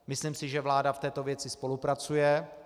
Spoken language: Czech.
Myslím si, že vláda v této věci spolupracuje.